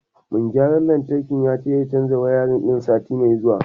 Mai gayran lantarkin zai canja wayarin ɗin sati mai zuwa.